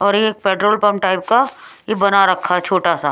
और यह एक पेट्रोल पंप टाइप का ये बना रखा है छोटा सा।